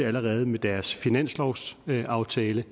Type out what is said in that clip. allerede med deres finanslovsaftale